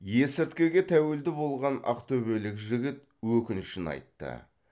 есірткіге тәуелді болған ақтөбелік жігіт өкінішін айтты